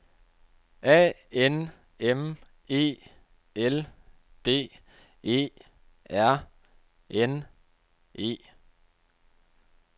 A N M E L D E R N E